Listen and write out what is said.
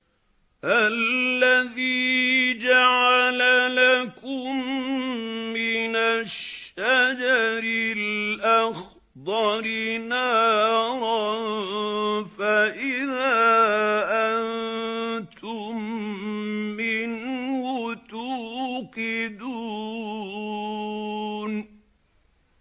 الَّذِي جَعَلَ لَكُم مِّنَ الشَّجَرِ الْأَخْضَرِ نَارًا فَإِذَا أَنتُم مِّنْهُ تُوقِدُونَ